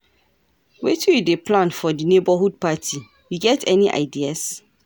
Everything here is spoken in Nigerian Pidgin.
Wetin you dey plan for di neighborhood party, you get any ideas?